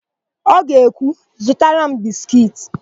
Ọ ga-ekwu, "zụtara m biskiiti"!